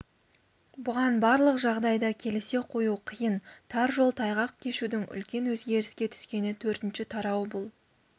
бұған барлық жағдайда келісе қою қиын тар жол тайғақ кешудің үлкен өзгеріске түскені төртінші тарау бұл